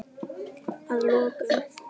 Að lokum.